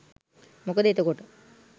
මොකද එතකොට